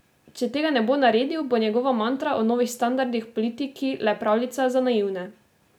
Če tega ne bo naredil, bo njegova mantra o novih standardih v politiki le pravljica za naivne.